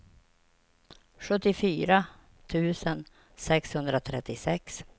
sjuttiofyra tusen sexhundratrettiosex